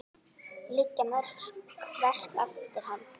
Liggja mörg verk eftir hann.